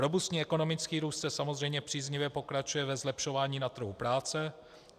Robustní ekonomický růst samozřejmě příznivě pokračuje ve zlepšování na trhu práce.